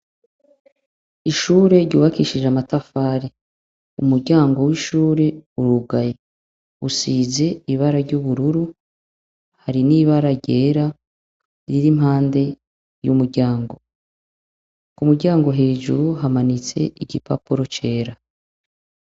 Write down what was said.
Ishure ryubakishije amatafari umuryango w'ishure urugaye usize ibara ry'ubururu iri ni ibara ryera riri impande y'umuryango ku umuryango hejuru hamanitse igipapuro cera.